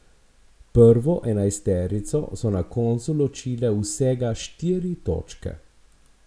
Prvo enajsterico so na koncu ločile vsega štiri točke!